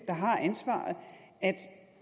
der har ansvaret